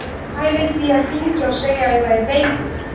Ég var að pæla í því að hringja og segja að ég væri veikur.